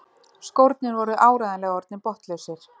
Skórnir voru áreiðanlega orðnir botnlausir.